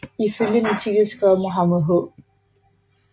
Ifølge en artikel skrevet af Mohamed H